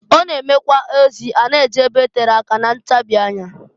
Ọ na-emekwa ozi a na-eje ebe tere aka na ntabi anya.